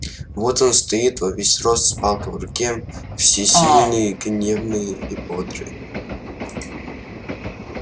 вот он стоит во весь рост с палкой в руке всесильный гневный и бодрый